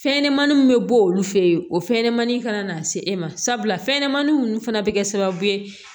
Fɛn ɲɛnɛmaniw bɛ bɔ olu fɛ yen o fɛnɲɛnɛmaninw kana se e ma sabula fɛnɲanamanin ninnu fana bɛ kɛ sababu ye